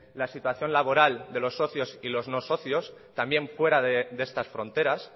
la situación laboral de los socios y los no socios también fuera de estas fronteras